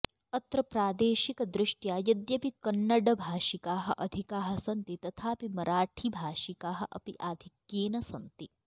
अत्र प्रादेशिकदृष्ट्या यद्यपि कन्नडभाषिकाः अधिकाः सन्ति तथापि मराठीभाषिकाः अपि अधिक्येन सन्ति